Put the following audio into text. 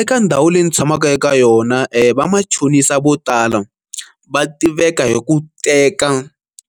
Eka ndhawu leyi ndzi tshamaka eka yona va machonisa vo tala va tiveka hi ku teka